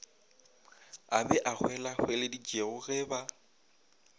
a ba hwelahweleditšego ge ba